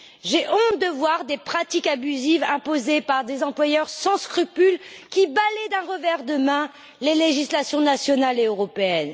j'ai honte de voir des pratiques abusives imposées par des employeurs sans scrupules qui balaient d'un revers de main les législations nationales et européennes.